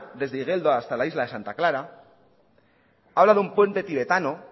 desde igeldo hasta la isla de santa clara habla de un puente tibetano